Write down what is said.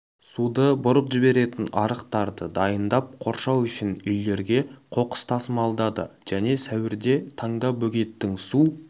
суды бұрып жіберетін арықтарды дайындап қоршау үшін үйлерге қоқыс тасымалдады және сәуірде таңда бөгеттің су